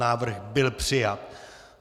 Návrh byl přijat.